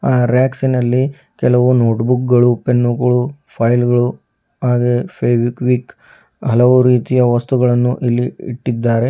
ಆ ರ್ಯಕ್ಸಿನಲ್ಲಿ ಕೆಲವು ನೋಟ್ಬೂಕಗಳು ಪೆನ್ನುಗಳು ಫೈಲ್ಗ ಳು ಹಾಗೆಯೆ ಫೆವೈಕ್ವಿಕ್ ಹಲವು ರೀತಿಯ ವಸ್ತುಗಳನ್ನು ಇಲ್ಲಿ ಇಟ್ಟಿದ್ದಾರೆ.